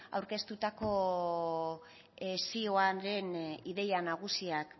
aurkeztutako zioaren ideia nagusiak